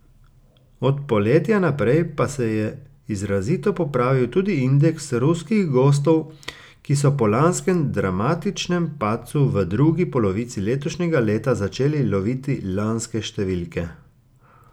Od poletja naprej pa se je izrazito popravil tudi indeks ruskih gostov, ki so po lanskem dramatičnem padcu v drugi polovici letošnjega leta začeli loviti lanske številke.